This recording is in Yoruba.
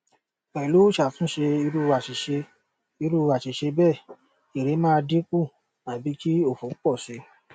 pẹ̀lu iṣatunṣe iru aṣiṣe iru aṣiṣe bẹ́ẹ̀ ere maa dinku abi ki òfò pọ̀ si